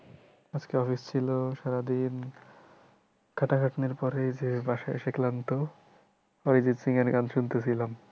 আজকে office ছিল সারাদিন খাটাখাটনির পরে যে বাসায় এসে ক্লান্ত অরিজিৎ সিংহ এর গান শুনতে ছিলাম।